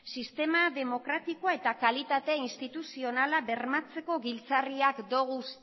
sistema demokratikoa eta kalitate instituzionala bermatzeko giltzarriak ditugu